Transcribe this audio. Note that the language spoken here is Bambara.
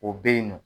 O bɛ yen nɔ